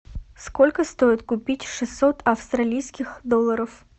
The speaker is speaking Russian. сколько стоит купить шестьсот австралийских долларов